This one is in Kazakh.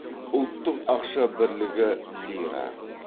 ұлттық ақша бірлігі лира